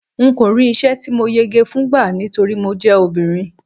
n ko ri isẹ ti mo yege fún gba nítorí mo je obìnrin